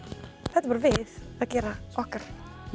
þetta er bara við að gera okkar